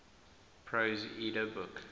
prose edda book